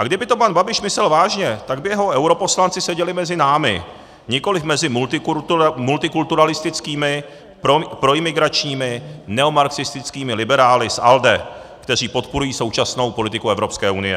A kdyby to pan Babiš myslel vážně, tak by jeho europoslanci seděli mezi námi, nikoliv mezi multikulturalistickými, proimigračními, neomarxistickými liberály z ALDE, kteří podporují současnou politiku Evropské unie.